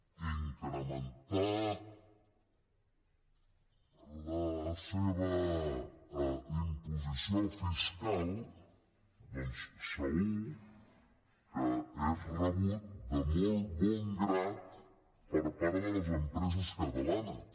incrementar la seva imposició fiscal doncs segur que és rebut de molt bon grat per part de les empreses catalanes